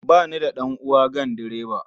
Ba ni da ɗan'uwa ganduroba.